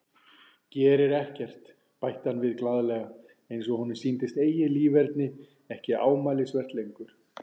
Gerir ekkert, bætti hann við glaðlega eins og honum sýndist eigið líferni ekki ámælisvert lengur.